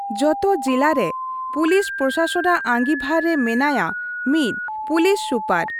ᱡᱚᱛᱚ ᱡᱤᱞᱟ ᱨᱮ ᱯᱩᱞᱤᱥ ᱯᱨᱚᱥᱟᱥᱚᱱᱼᱟᱜ ᱟᱺᱜᱤᱵᱷᱟᱨ ᱨᱮ ᱢᱮᱱᱟᱭᱟ ᱢᱤᱫ ᱯᱩᱞᱤᱥ ᱥᱩᱯᱟᱨ ᱾